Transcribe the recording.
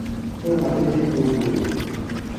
Nũ ũhandĩte itũngũrũ?